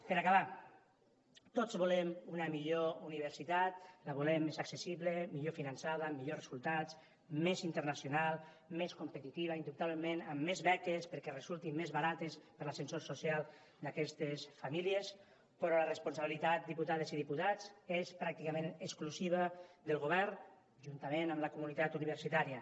per acabar tots volem una millor universitat la volem més accessible millor finançada millors resultats més internacional més competitiva indubtablement amb més beques perquè resultin més barates per a l’ascensor social d’aquestes famílies però la responsabilitat diputades i diputats és pràcticament exclusiva del govern juntament amb la comunitat universitària